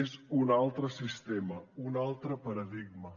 és un altre sistema un altre paradigma